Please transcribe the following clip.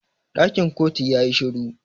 Dakin kotu ya yi shiru.